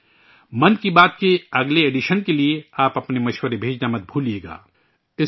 'من کی بات' کے اگلے ایڈیشن کے لئے اپنی تجاویز بھیجنا بھی مت بھولئیے گا